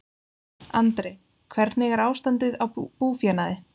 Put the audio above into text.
Andri: Hvernig er ástandið á búfénaði?